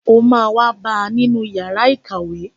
O má wá bá ni yàrá ìkàwé.